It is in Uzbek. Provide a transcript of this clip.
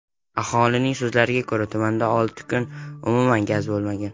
Aholining so‘zlariga ko‘ra, tumanda olti kun umuman gaz bo‘lmagan .